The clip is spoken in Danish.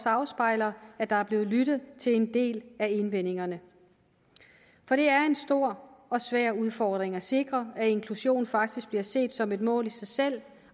afspejler at der er blevet lyttet til en del af indvendingerne for det er en stor og svær udfordring at sikre at inklusion faktisk bliver set som et mål i sig selv